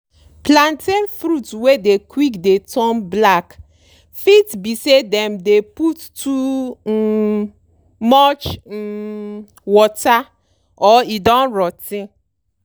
plantain fruit wey dey quick dey turn black fit be say dem dey put too um much um water or e don rot ten.